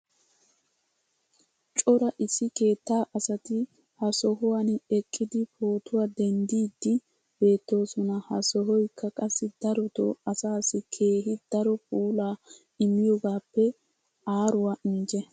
cora issi keettaa asati ha sohuwan eqqidi pootuwaa denddiidi beetoosona. ha sohoykka qassi darotoo asaassi keehi daro puulaa immiyoogaappe aaruwaa injje.